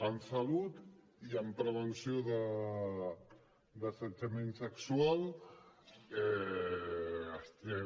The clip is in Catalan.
en salut i en prevenció d’assetjament sexual estem